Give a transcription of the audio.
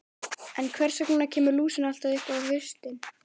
En hvers vegna kemur lúsin alltaf upp á haustin?